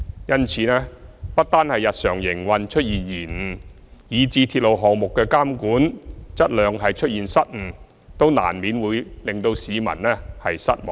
因此，港鐵公司由日常營運出現延誤以至鐵路項目質量監管出現失誤，都難免會令市民失望。